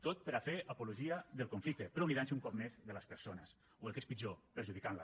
tot per a fer apologia del conflicte però oblidant se un cop més de les persones o el que és pitjor perjudicant les